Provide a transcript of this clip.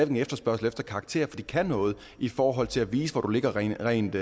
en efterspørgsel efter karakterer for de kan noget i forhold til at vise hvor du ligger rent rent